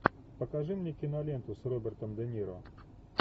покажи мне киноленту с робертом де ниро